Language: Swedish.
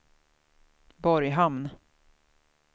Borghamn